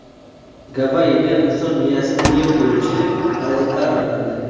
Gavayida inson miyasini yeb qo‘yuvchi parazitlar aniqlandi.